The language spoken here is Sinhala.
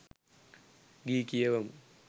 ගී කියවමු